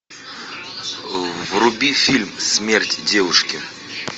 вруби фильм смерть девушки